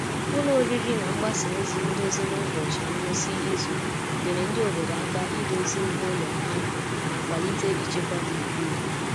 Ụlọ oriri na mgbasa ozi ndozi n’ụbọchị ngwụsị izu nyere ndị obodo aka idozi ihe ụlọ ha ma kwalite ịchekwa gburugburu.